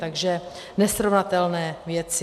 Takže nesrovnatelné věci.